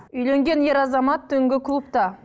үйленген ер азамат түнгі клубта